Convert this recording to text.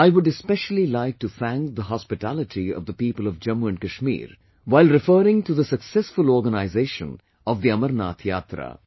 I would especially like to thank the hospitality of the people of Jammu Kashmir while referring to successful organization of Amarnath Yatra